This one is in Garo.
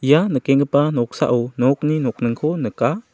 ia nikenggipa noksao nokni nokningko nika.